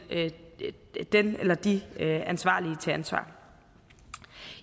den eller de ansvarlige til ansvar